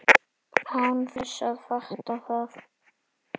Án þess að fatta það.